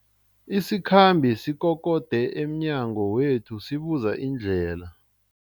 Isikhambi sikokode emnyango wethu sibuza indlela.